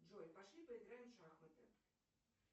джой пошли поиграем в шахматы